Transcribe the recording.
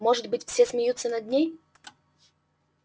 может быть все смеются над ней